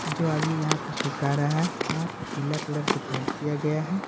जो आदमी यहां पे छुटका रहा है वहां पे पीला कलर से पेंट किया गया है।